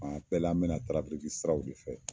A bɛ la, an mina siraw de fɛ,